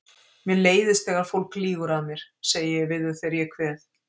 Mér leiðist þegar fólk lýgur að mér, segi ég við þau þegar ég kveð.